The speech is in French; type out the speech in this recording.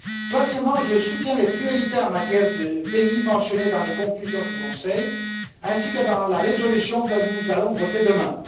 Troisièmement, je soutiens les priorités mentionnées, en matière de pays, dans les conclusions du Conseil ainsi que dans la résolution que nous allons voter demain.